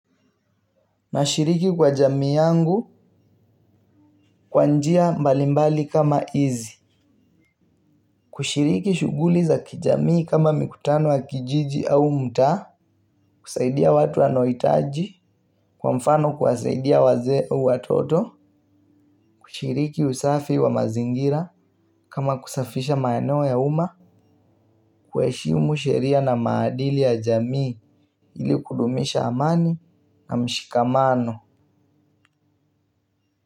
Na shiriki kwa jamii yangu kwa njia mbalimbali kama izi. Kushiriki shuguli za kijamii kama mikutano wa kijiji au mta. Kusaidia watu anoitaji. Kwa mfano kwasaidia waze au watoto. Kushiriki usafi wa mazingira kama kusafisha maeneo ya uma. Kueshimu sheria na maadili ya jamii ili kudumisha amani na mshikamano.